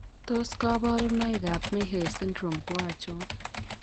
Tos kabarunoik ab Mehes Syndrome ko achon?